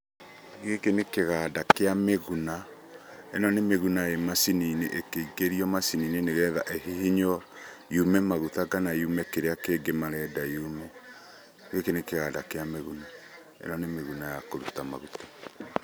Gĩkĩ nĩ kĩganda kĩa mĩguna, ĩno nĩ mĩguna ĩ macini-inĩ, ĩkĩingĩrio macini-inĩ nĩgetha ĩ hihinyũo yume maguta kana yume kĩrĩa kĩngĩ marenda yume. Gĩkĩ nĩ kĩganda kĩa mĩguna, ĩno nĩ mĩguna ya kũruta maguta.